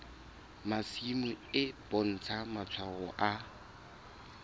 masimo e bontsha matshwao a